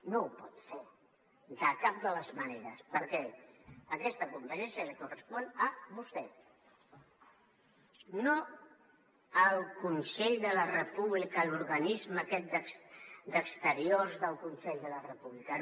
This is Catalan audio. no ho pot fer de cap de les maneres perquè aquesta competència li correspon a vostè no al consell per la república l’organisme aquest d’exteriors del consell per la república